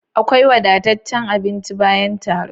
Akwai wadataccen abinci bayan taro